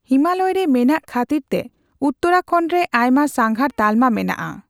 ᱦᱤᱢᱟᱞᱚᱭᱨᱮ ᱢᱮᱱᱟᱜ ᱠᱷᱟᱹᱛᱤᱨᱛᱮ ᱩᱛᱛᱚᱨᱟᱠᱷᱚᱱᱰ ᱨᱮ ᱟᱭᱢᱟ ᱥᱟᱸᱜᱷᱟᱨ ᱛᱟᱞᱢᱟ ᱢᱮᱱᱟᱜᱼᱟ ᱾